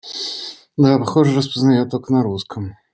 да похоже распознаёт только на русском